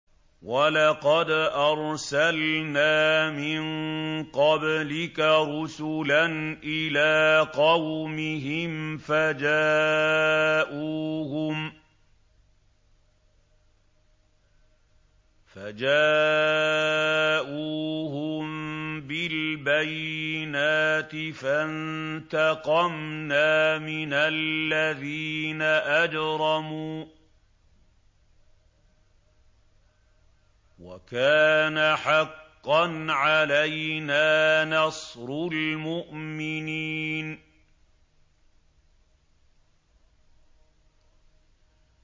وَلَقَدْ أَرْسَلْنَا مِن قَبْلِكَ رُسُلًا إِلَىٰ قَوْمِهِمْ فَجَاءُوهُم بِالْبَيِّنَاتِ فَانتَقَمْنَا مِنَ الَّذِينَ أَجْرَمُوا ۖ وَكَانَ حَقًّا عَلَيْنَا نَصْرُ الْمُؤْمِنِينَ